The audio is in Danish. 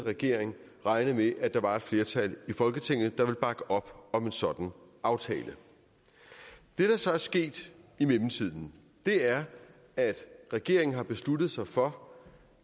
regering regne med at der var et flertal i folketinget der ville bakke op om en sådan aftale det der så er sket i mellemtiden er at regeringen har besluttet sig for